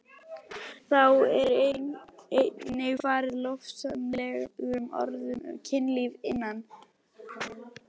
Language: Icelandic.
Þá er einnig farið lofsamlegum orðum um kynlíf innan hjónabands.